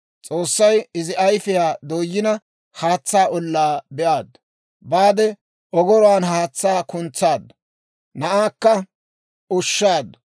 S'oossay izi ayfiyaa dooyina, haatsaa ollaa be'aaddu; baade ogoruwaan haatsaa kuntsaaddu; na'aakka ushshaaddu.